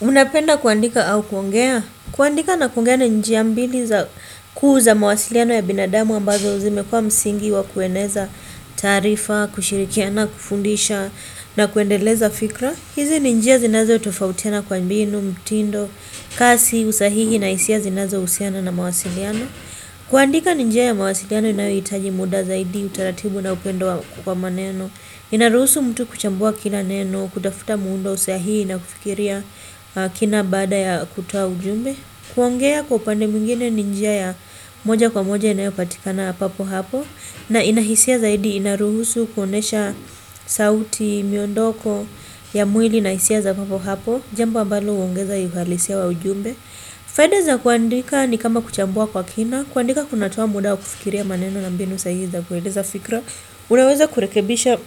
Unapenda kuandika au kuongea? Kuandika na kuongea na njia mbili za kuu za mawasiliano ya binadamu ambazo zimekuwa msingi wa kueneza taarifa, kushirikiana, kufundisha na kuendeleza fikra. Hizi ni njia zinazotofautiana kwa mbinu, mtindo, kasi, usahihi na hisia zinazohusiana na mawasiliano. Kuandika ni njia ya mawasiliano inayohitaji muda zaidi, utaratibu na upendo kwa maneno. Inaruhusu mtu kuchambua kila neno, kutafuta muundo sahii na kufikiria kina baada ya kutoa ujumbe. Kuongea kwa upande mwingine ni njia ya moja kwa moja inayopatikana papo hapo, na ina hisia zaidi inaruhusu kuonyesha sauti, miondoko ya mwili na hisia za papo hapo. Jambo ambalo huongeza uhalisia wa ujumbe. Faida za kuandika ni kama kuchambua kwa kina. Kuandika kunatoa muda wa kufikiria maneno na mbinu sahihi za kueleza fikra, unaweza kurekebisha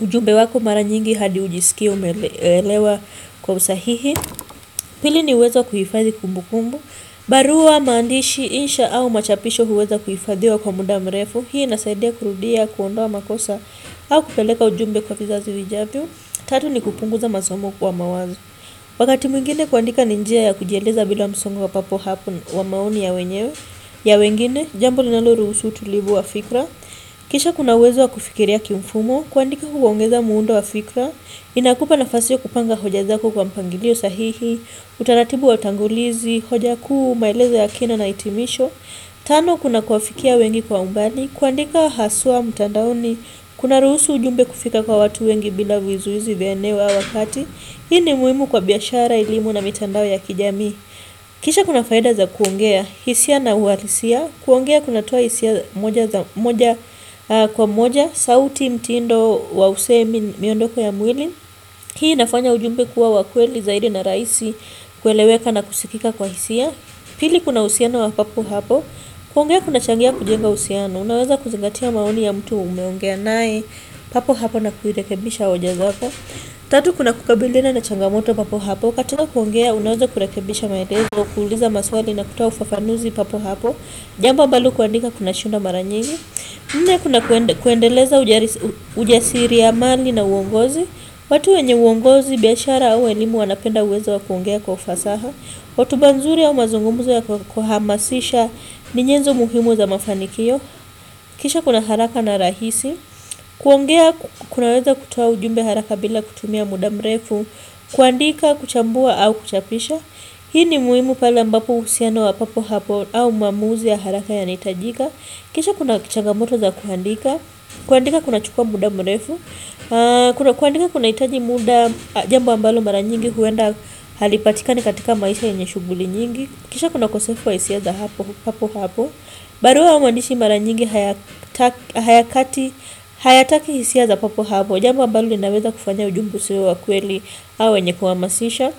ujumbe wako mara nyingi hadi ujisikie umeelewa kwa usahihi. Pili ni uwezo wa kuhifadhi kumbukumbu. Barua, maandishi, insha au machapisho huweza kuhifadhiwa kwa muda mrefu. Hii inasaidia kurudia, kuondoa makosa au kupeleka ujumbe kwa vizazi vijavyo. Tatu ni kupunguza masomo kwa mawazo. Wakati mwingine kuandika ni njia ya kujieleza bila msongo wa papo hapo wa maoni ya wenyewe, ya wengine. Jambo linaloruhusu utulivu wa fikra. Kisha kuna uwezo wa kufikiria kimfumo, kuandika huongeza muundo wa fikra, inakupa nafasi ya kupanga hoja zako kwa mpangilio sahihi, utaratibu wa utangulizi, hoja kuu, maelezo ya kina na hitimisho. Tano kuna kuwafikia wengi kwa umbali, kuandika haswa, mtandaoni, kunaruhusu ujumbe kufika kwa watu wengi bila vizuizi vya eneo au wakati. Hii ni muhimu kwa biashara, elimu na mitandao ya kijamii. Kisha kuna faida za kuongea, hisia na uhalisia. Kuongea kunatoa hisia moja kwa moja. Sauti, mtindo wa usemi, miondoko ya mwili. Hii inafanya ujumbe kuwa wa kweli zaidi na rahisi kueleweka na kusikika kwa hisia. Pili kuna uhusiano wa papo hapo. Kuongea kunachangia kujenga uhusiano. Unaweza kuzingatia maoni ya mtu umeongea naye. Papo hapo na kuirekebisha hoja zako. Tatu kuna kukabiliana na changamoto papo hapo. Katika kuongea, unaweza kurekebisha maelezo, kuuliza maswali na kutoa ufafanuzi papo hapo. Jambo ambalo kuandika kunashindwa mara nyingi. Nne kuna kuendeleza ujasiri ya mali na uongozi. Watu wenye uongozi, biashara au elimu, wanapenda uwezo wa kuongea kwa ufasaha. Hotuba nzuri au mazungumzo ya kuhamasisha ni nyenzo muhimu za mafanikio. Kisha kuna haraka na rahisi. Kuongea, kunaweza kutua ujumbe haraka bila kutumia mudamrefu. Kuandika, kuchambua au kuchapisham hii ni muhimu pale ambapo uhusiano wa papo hapo au maamuzi ya haraka yanahitajika. Kisha kuna changamoto za kuandika. Kuandika kunachukua muda mrefu. Kuandika kunahitaji muda, jambo ambalo mara nyingi huenda halipatikani katika maisha yenye shughuli nyingi. Kisha kuna ukosefu wa hisia za papo hapo. Barua au maandishi mara nyingi hayakati hayataki hisia za papo hapo. Jambo ambalo inaweza kufanya ujumbe usiwe wa kweli, au wenye kuhamasisha.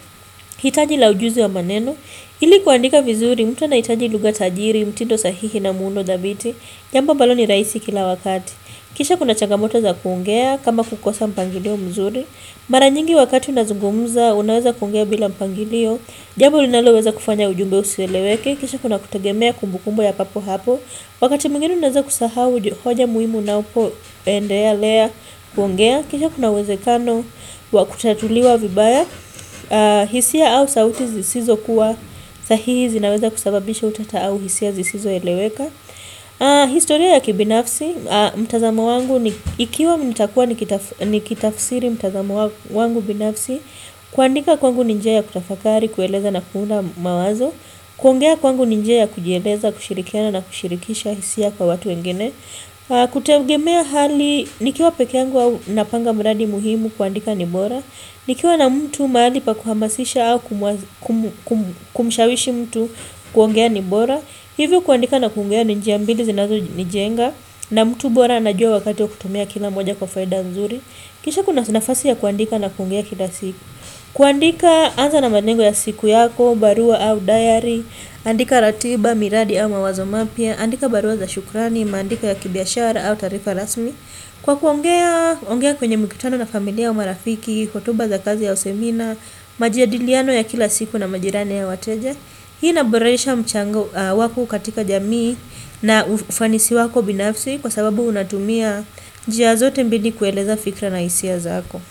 Hitaji la ujuzi wa maneno. Ili kuandika vizuri mtu anahitaji lugha tajiri, mtindo sahihi na muundo thabiti. Jambo ambalo ni rahisi kila wakati. Kisha kuna changamoto za kuongea, kama kukosa mpangilio mzuri. Mara nyingi wakati unazungumuza, unaweza kuongea bila mpangilio. Jambo linaloweza kufanya ujumbe usieleweke. Kisha kuna kutegemea kumbukumbu ya papo hapo. Wakati mwingine unaweza kusahau hoja muhimu unapoendelea kuongea. Kisha kuna uwezekano wa kutatuliwa vibaya. Hisia au sauti zisizo kuwa sahihi zinaweza kusababisha utata au hisia zisizoeleweka. Historia ya kibinafsi, mtazamo wangu, ikiwa nitakuwa nikitafsiri mtazamo wangu binafsi, kuandika kwangu ni njia ya kutafakari, kueleza na kuunda mawazo, kuongea kwangu ni njia ya kujieleza, kushirikiana na kushirikisha hisia kwa watu wengine, kutegemea hali, nikiwa peke yangu au napanga mradi muhimu kuandika ni bora. Nikiwa na mtu mahali pa kuhamasisha au kumshawishi mtu kuongea ni bora. Hivyo kuandika na kuongea ni njia mbili zinazonijenga. Na mtu bora anajua wakati wa kutumia kila moja kwa faida nzuri. Kisha kuna nafasi ya kuandika na kuongea kila siku. Kuandika, anza na malengo ya siku yako, barua au diary. Andika ratiba, miradi au mawazo mapya. Andika barua za shukurani, maandiko ya kibiashara au taarifa rasmi. Kwa kuongea, ongea kwenye mikutano na familia au marafiki, hotuba za kazi au semina. Majadiliano ya kila siku na majirani au wateja. Hii inaboresha mchango wako katika jamii na ufanisi wako binafsi, kwa sababu unatumia njia zote mbili kueleza fikra na hisia zako.